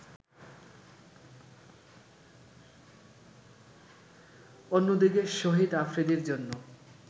অন্যদিকে শহীদ আফ্রিদির জন্য